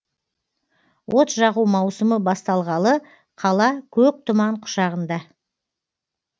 от жағу маусымы басталғалы қала көк тұман құшағында